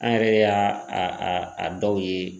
An yɛrɛ y'a a a dɔw ye.